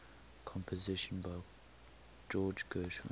compositions by george gershwin